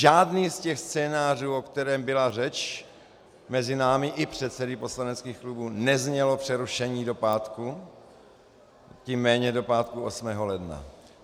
Žádný z těch scénářů, o kterém byla řeč mezi námi i předsedy poslaneckých klubů, neznělo přerušení do pátku, tím méně do pátku 8. ledna.